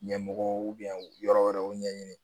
Ɲɛmɔgɔw u yɔrɔ wɛrɛw ɲɛɲini